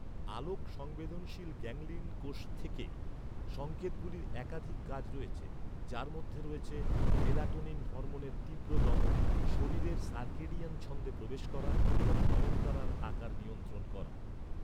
আলোক সংবেদনশীল গ্যাংলিয়ন কোষ থেকে সংকেতগুলির একাধিক কাজ রয়েছে, যার মধ্যে রয়েছে, মেলাটোনিন হরমোনের তীব্র দমন, শরীরের সার্কেডিয়ান ছন্দে প্রবেশ করা এবং নয়নতারার আকার নিয়ন্ত্রণ করা।